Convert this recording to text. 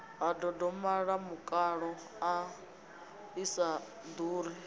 ha ndondolamutakalo i sa ḓuri